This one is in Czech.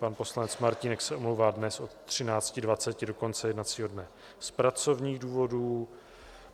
Pan poslanec Martínek se omlouvá dnes od 13.20 do konce jednacího dne z pracovních důvodů.